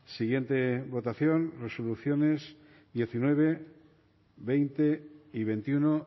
siguiente votación resoluciones diecinueve veinte y veintiuno